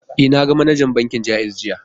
E, na ga manajar bankin Ja'iz jiya.